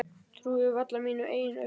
Trúði varla mínum eigin augum.